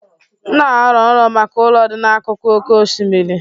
M na-arọ nrọ maka ụlọ dị n'akụkụ oké osimiri.